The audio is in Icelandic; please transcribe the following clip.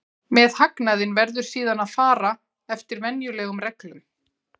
Með hagnaðinn verður síðan að fara eftir venjulegum reglum.